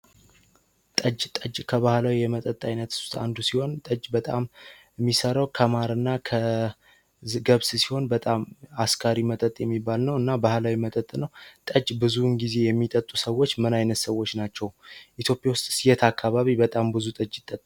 ጠጅ ጠጅ ከባለው የመጠጥ አይነቱ አንዱ ሲሆን ተች በጣም የሚሰራው ከማርና ከዝገብ ሲሆን በጣም አስካሪ መጠጥ የሚባል ነው እና ባህላዊ መጠጥ ብዙ ጊዜ የሚጠጡ ሰዎች ምን አይነት ሰዎች ናቸው ኢትዮጵያ ውስጥ የት አካባቢ በጣም ብዙ